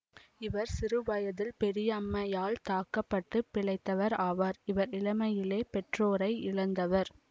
இவர் சிறுவயதில் பெரியம்மையால் தாக்க பட்டு பிழைத்தவர் ஆவார் இவர் இளமையிலே பெற்றோரை இழந்தவர்